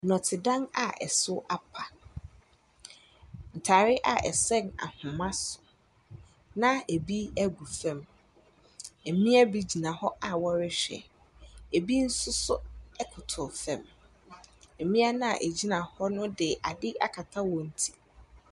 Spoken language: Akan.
Nnɔte dan a ɛso apa. Ntaare a ɛsɛn ahoma so na ebi egu fam. Mmea bi gyina hɔ a wɔrehwɛ. Ebi nso so ɛkotow fam. Mmea na egyina hɔ no ɛde adeɛ akata wɔn ti.